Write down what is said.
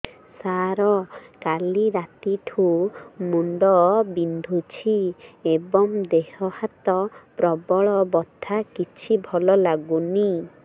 ସାର କାଲି ରାତିଠୁ ମୁଣ୍ଡ ବିନ୍ଧୁଛି ଏବଂ ଦେହ ହାତ ପ୍ରବଳ ବଥା କିଛି ଭଲ ଲାଗୁନି